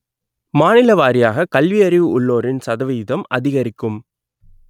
மாநிலவாரியாக கல்வியறிவு உள்ளோரின் சதவிகிதம் அதிகரிக்கும்